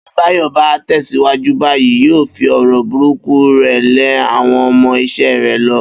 Bí Báyò̩ bá tè̩síwájú báyìí, yóò fi ò̩rò̩ burúkú rè̩ lé àwo̩n o̩mo̩ is̩é̩ rè lo̩